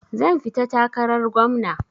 Zan fita takarar gwamna.